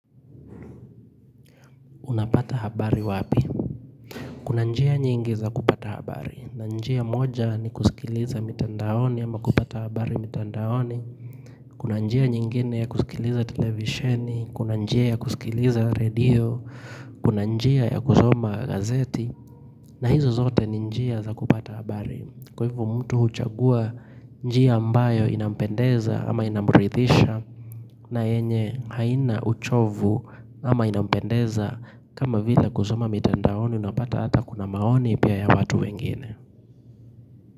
Unapata habari wapi? Kuna njia nyingi za kupata habari. Na njia moja ni kusikiliza mitandaoni ama kupata habari mitandaoni. Kuna njia nyingine ya kusikiliza televisheni. Kuna njia ya kusikiliza radio. Kuna njia ya kuzoma gazeti. Na hizo zote ni njia za kupata habari. Kwa hivo mtu huchagua njia ambayo inampendeza ama inamurithisha. Na yenye haina uchovu ama inampendeza kama vile kusoma mitandaoni unapata hata kuna maoni pia ya watu wengine.